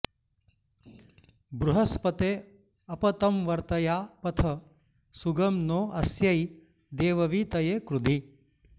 बृह॑स्पते॒ अप॒ तं व॑र्तया प॒थः सु॒गं नो॑ अ॒स्यै दे॒ववी॑तये कृधि